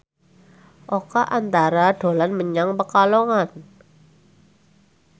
Oka Antara dolan menyang Pekalongan